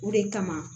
O de kama